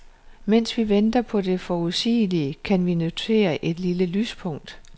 Mens vi venter på det forudsigelige, kan vi notere et lille lyspunkt.